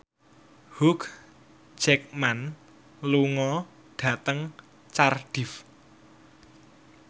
Hugh Jackman lunga dhateng Cardiff